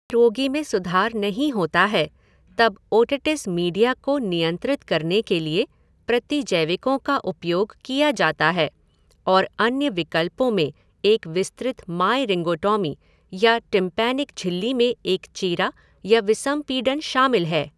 यदि रोगी में सुधार नहीं होता है तब ओटिटिस मीडिया को नियंत्रित करने के लिए प्रतिजैविकों का उपयोग किया जाता है और अन्य विकल्पों में एक विस्तृत मायरिंगोटॉमी या टिम्पैनिक झिल्ली में एक चीरा या विसंपीडन शामिल है।